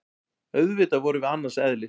Auðvitað vorum við annars eðlis.